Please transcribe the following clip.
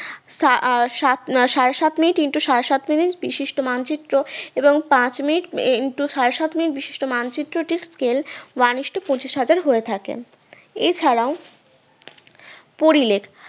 সা আ সাত আহ সাড়ে সাত মিনিট into সাড়ে সাত মিনিট বিশিষ্ট মানচিত্র এবং পাঁচ minute into সাড়ে সাত minute বিশিষ্ট মানচিত্র scale one ইস্টু পঁচিশ হাজার হয়ে থাকে এছাড়াও পরিলেখ